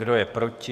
Kdo je proti?